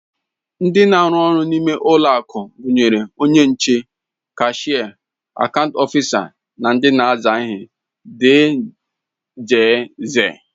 Ndị na-arụ ọrụ n'ime ụlọakụ gụnyere onye nche, kashịa, akaant ọfisa, ndị na-aza ihe dgz